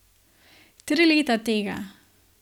Tri leta tega.